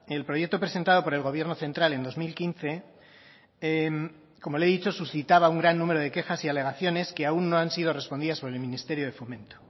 el proyecto presentado por el gobierno central en dos mil quince como le he dicho suscitaba un gran número de quejas y alegaciones que aún no han sido respondidas por el ministerio de fomento